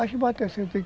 Caixa e bateia.